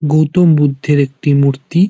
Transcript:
গৌতম বুদ্ধের একটি মূর্তি ।